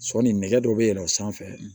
Sɔɔni nɛgɛ dɔ bɛ yɛlɛn o sanfɛ